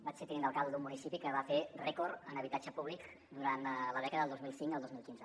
vaig ser tinent d’alcalde d’un municipi que va fer rècord en habitatge públic durant la dècada del dos mil cinc al dos mil quinze